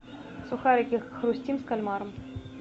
сухарики хрустим с кальмаром